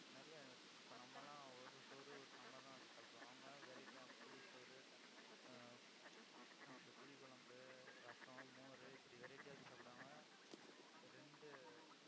நிறைய இப்ப நம்ம எல்லாம் ஒரு சோறு, ஒரு சாம்பார் எல்லாம் வச்சு சாப்பிடுவோம். அவங்க variety யா புளி சோறு ஆஹ் என்ன சொல்றது, புளி குழம்பு, ரசம், மோர் இப்படி variety ஆ வச்சு சாப்பிடுவாங்க. ரெண்டு